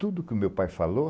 Tudo que o meu pai falou,